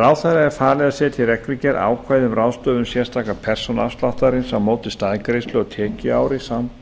ráðherra er falið að setja í reglugerð ákvæði um ráðstöfun sérstaka persónuafsláttarins á móti staðgreiðslu á tekjuári